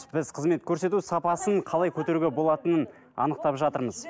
біз қызмет көрсету сапасын қалай көтеруге болатынын анықтап жатырмыз